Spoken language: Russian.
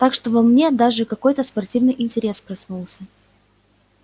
так что во мне даже какой-то спортивный интерес проснулся